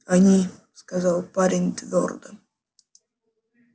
они сказал парень твёрдо